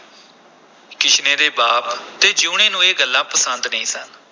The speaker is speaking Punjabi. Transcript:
ਕਿਸ਼ਨੇ ਦੇ ਬਾਪ ਤੇ ਜੀਊਣੇ ਨੂੰ ਇਹ ਗੱਲਾਂ ਪਸੰਦ ਨਹੀਂ ਸਨ।